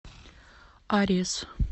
арес